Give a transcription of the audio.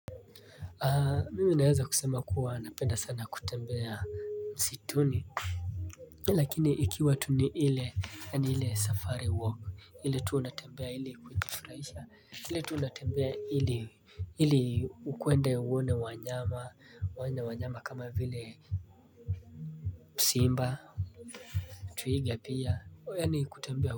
Mimi naweza kusema kuwa napenda sana kutembea msituni lakini ikiwa tu ni ile yaani ile safari walk ile tu unatembea ili kujifurahisha hile tu unatembea ili ili ukwende uone wanyama wanyama kama vile simba twiga pia yaani kutembea.